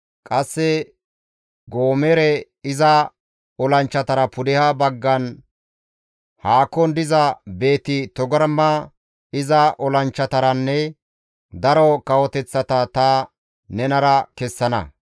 Qasse Goomere iza olanchchatara pudeha baggan haakon diza Beeti-Togarma iza olanchchataranne daro kawoteththata ta nenara kessana.